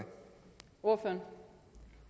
over